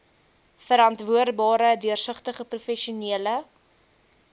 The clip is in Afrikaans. verantwoordbare deursigtige professionele